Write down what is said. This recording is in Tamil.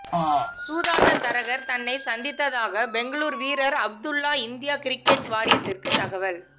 சூதாட்ட தரகர் தன்னை சந்தித்தாக பெங்களூர் வீரர் அப்துல்லா இந்திய கிரிக்கெட் வாரியத்துக்கு தகவல்